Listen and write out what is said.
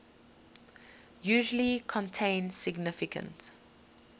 usually contain significant